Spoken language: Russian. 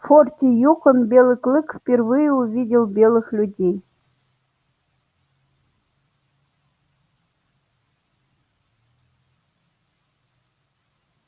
в форте юкон белый клык впервые увидел белых людей